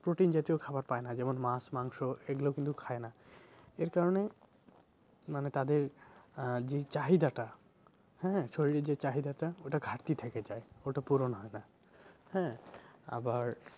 protein জাতীয় খাবার পায় না যেমন মাছ মাংস এগুলো কিন্তু খায় না এর কারণে মানে তাদের আহ যে চাহিদাটা হ্যাঁ শরীর এর যে চাহিদাটা ওটা ঘাটতি থেকে যায়। ওটা পূরণ হয় না হ্যাঁ? আবার